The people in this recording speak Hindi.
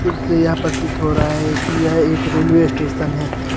यह प्रतीत हो रहा हैं कि यह एक रेलवे स्टेशन है।